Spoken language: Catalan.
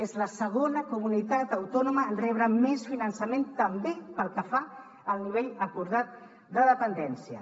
és la segona comunitat autònoma en rebre més finançament també pel que fa al nivell acordat de dependència